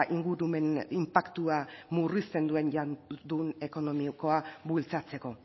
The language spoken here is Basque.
ingurumen inpaktua murrizten duen itun ekonomikoa bultzatzeko